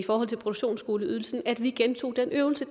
produktionsskoleydelsen at vi gentog den øvelse